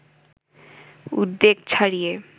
উদ্বেগ ছাড়িয়ে